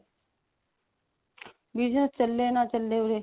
business ਚੱਲੇ ਨਾ ਚੱਲੇ ਉਰੇ